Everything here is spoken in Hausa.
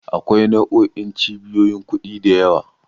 Akwai nau'o'in cibiyoyin kuɗi da yawa.